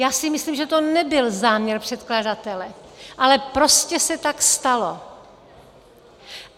Já si myslím, že to nebyl záměr předkladatele, ale prostě se tak stalo.